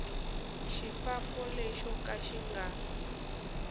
xifambo lexo ka xi nga